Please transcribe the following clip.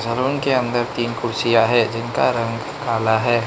Room के अंदर तीन कुर्चियाँ हैं जिनका रंग काला हैं।